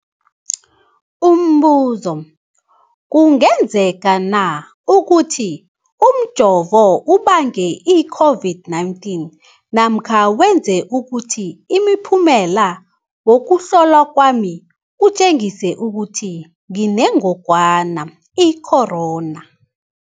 Umbuzo, kungenzekana ukuthi umjovo ubange i-COVID-19 namkha wenze ukuthi umphumela wokuhlolwa kwami utjengise ukuthi nginengogwana i-corona?